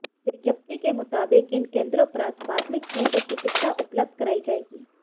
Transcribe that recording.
विज्ञप्ति के मुताबिक इन केंद्रों पर प्राथमिक नेत्र चिकित्सा उपलब्ध करायी जाएगी